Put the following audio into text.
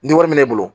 Ni wari bɛ ne bolo